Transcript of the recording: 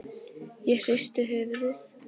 Ég hristi höfuðið.